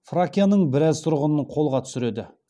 фракияның біраз тұрғынын қолға түсіреді